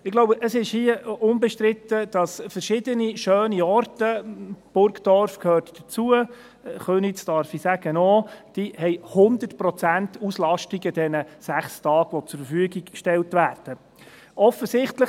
Ich glaube, es ist hier unbestritten, dass verschiedene schöne Orte – Burgdorf gehört dazu, Köniz, darf ich sagen, auch – an den 6 Tagen, an denen sie zur Verfügung gestellt werden, 100 Prozent Auslastung haben.